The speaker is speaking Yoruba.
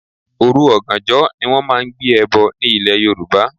Òru oganjo ni wón máa ń gbé ẹbọ ní ilè Yorùbá.